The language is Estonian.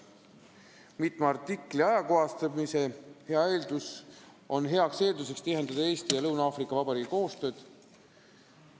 Mitme artikli ajakohastamine loob hea eelduse tihendada Eesti ja Lõuna-Aafrika Vabariigi koostööd.